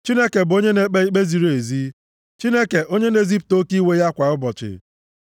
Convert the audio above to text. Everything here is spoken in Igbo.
Chineke bụ onye na-ekpe ikpe ziri ezi, Chineke, onye na-ezipụta oke iwe ya kwa ụbọchị.